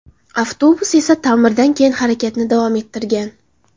Avtobus esa ta’mirdan keyin harakatni davom ettirgan.